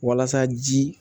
Walasa ji